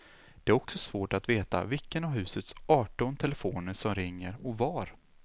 Det är också svårt att veta vilken av husets arton telefoner som ringer och var.